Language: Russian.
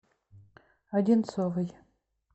одинцовой